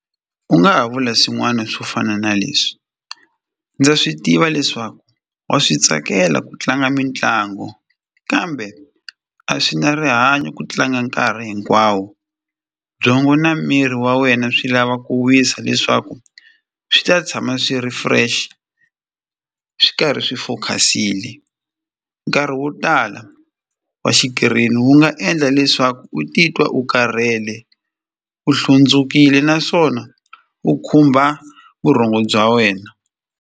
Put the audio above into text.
U nga ha vula swin'wana swo fana na leswi ndza swi tiva leswaku wa swi tsakela ku tlanga mitlangu kambe a swi na rihanyo ku tlanga nkarhi hinkwawo byongo na miri wa wena swi lava ku wisa leswaku swi ta tshama swi ri fresh swi karhi swi focus-ile nkarhi wo tala wa xikirini wu nga endla leswaku u titwa u karhele u hlundzukile naswona u khumba vurhongo bya wena.